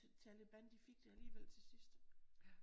Taliban de fik det alligevel til sidst